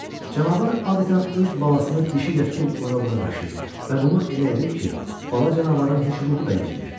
Canavar adətən öz balasını dişi ilə tutub ora-bura daşıyır və bunu elə edir ki, bala canavarın heç ruhu da incimir.